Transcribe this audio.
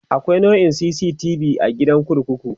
akwai naurar CCTV be a gidan kurkuku